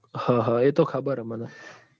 હ હ એતો ખબર હે મન